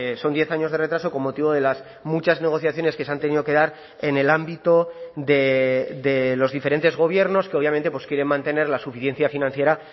son diez años de retraso con motivo de las muchas negociaciones que se han tenido que dar en el ámbito de los diferentes gobiernos que obviamente pues quieren mantener la suficiencia financiera